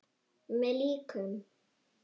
Með líkum!